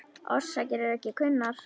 Orsakir eru ekki kunnar.